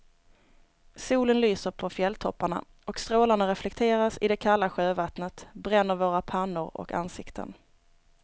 Solen lyser på fjälltopparna och strålarna reflekteras i det kalla sjövattnet, bränner våra pannor och ansikten.